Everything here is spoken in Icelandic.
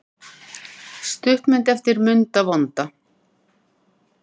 Stuttmynd eftir Munda vonda